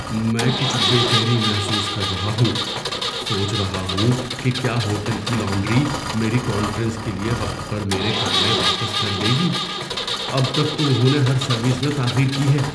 میں کچھ بے چینی محسوس کر رہا ہوں، سوچ رہا ہوں کہ کیا ہوٹل کی لانڈری میری کانفرنس کے لیے وقت پر میرے کپڑے واپس کر دے گی۔ اب تک تو انہوں نے ہر سروس میں تاخیر کی ہے۔